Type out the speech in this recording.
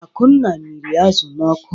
Akunna mịrị azụ̀ n'ọkụ.